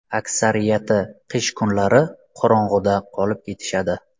Aksariyati qish kunlari qorong‘uda qolib ketishadi.